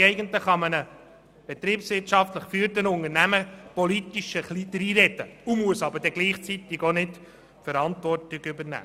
Man kann einem betriebswirtschaftlich geführten Unternehmen politisch ein bisschen dreinreden und muss nicht gleichzeitig die Verantwortung übernehmen.